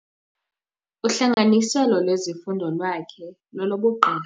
Uhlanganiselo lwezifundo lwakhe lolobugqirha.